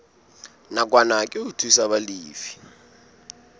nakwana ke ho thusa balefi